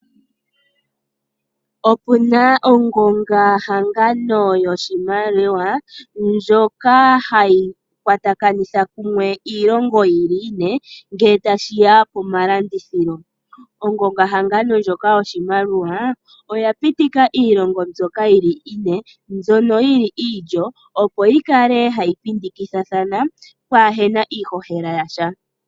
Opuna ongonga hangano yoshimaliwa ndjoka hayi kwatakanitha kumwe iilongo ine ngele tashiya pomalandithililo, ongonga hngano ndjoka oshimaliwa oyapitika iilongo mbyoka yili ine mbyono yili iilyo opo yikale hayi pitikithithathana kaapuna iihohela yasha.